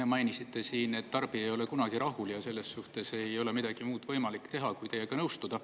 Te mainisite siin, et tarbija ei ole kunagi rahul, ja selles suhtes ei ole midagi muud võimalik teha kui teiega nõustuda.